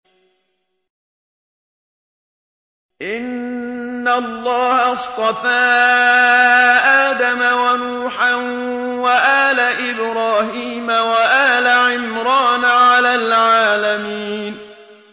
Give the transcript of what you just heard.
۞ إِنَّ اللَّهَ اصْطَفَىٰ آدَمَ وَنُوحًا وَآلَ إِبْرَاهِيمَ وَآلَ عِمْرَانَ عَلَى الْعَالَمِينَ